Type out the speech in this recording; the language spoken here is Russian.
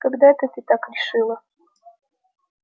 когда это ты так решила